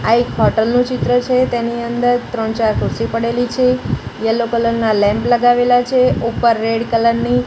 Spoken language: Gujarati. આ એક હોટલ નું ચિત્ર છે તેની અંદર ત્રણ ચાર ખુરસી પડેલી છે યેલો કલર ના લેમ્પ લગાવેલા છે ઉપર રેડ કલર ની--